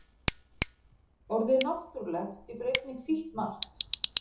Orðið náttúrulegt getur einnig þýtt margt.